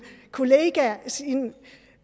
kollega